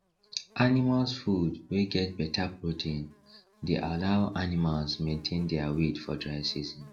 animals food wey get better protein dey allow animals maintain dia weight for dry season